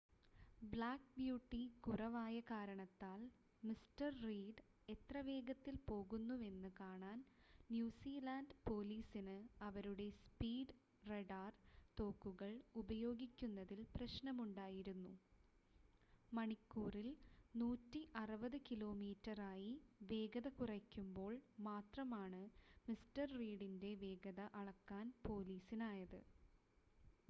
black beauty കുറവായ കാരണത്താൽ mister Reed എത്ര വേഗത്തിൽ പോകുന്നുവെന്ന് കാണാൻ ന്യൂസിലാൻഡ് പോലീസിന് അവരുടെ സ്പീഡ് റഡാർ തോക്കുകൾ ഉപയോഗിക്കുന്നതിൽ പ്രശ്‌നമുണ്ടായിരുന്നു മണിക്കൂറിൽ 160 കിലോമീറ്ററായി വേഗത കുറയ്ക്കുമ്പോൾ മാത്രമാണ് മിസ്റ്റർ റീഡിൻ്റെ വേഗത അളക്കാൻ പോലീസിനായത്